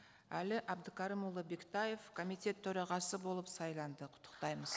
әли әбдікәрімұлы бектаев комитет төрағасы болып сайланды құттықтаймыз